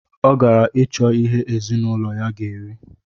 Ọ gara icho ihe ezinụlọ ya ga eri